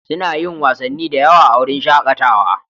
Suna yin wasanni da yawa a wurin shakatawa.